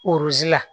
la